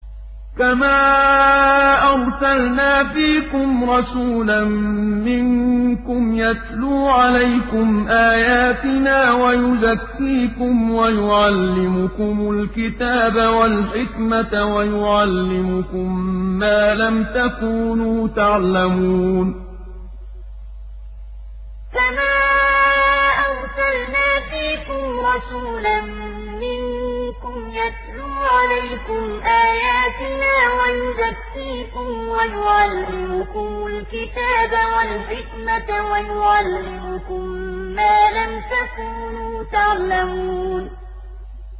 كَمَا أَرْسَلْنَا فِيكُمْ رَسُولًا مِّنكُمْ يَتْلُو عَلَيْكُمْ آيَاتِنَا وَيُزَكِّيكُمْ وَيُعَلِّمُكُمُ الْكِتَابَ وَالْحِكْمَةَ وَيُعَلِّمُكُم مَّا لَمْ تَكُونُوا تَعْلَمُونَ كَمَا أَرْسَلْنَا فِيكُمْ رَسُولًا مِّنكُمْ يَتْلُو عَلَيْكُمْ آيَاتِنَا وَيُزَكِّيكُمْ وَيُعَلِّمُكُمُ الْكِتَابَ وَالْحِكْمَةَ وَيُعَلِّمُكُم مَّا لَمْ تَكُونُوا تَعْلَمُونَ